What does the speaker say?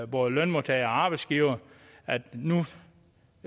både lønmodtagere og arbejdsgivere at nu